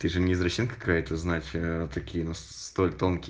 ты же не извращенка какая то знать такие столь тонкие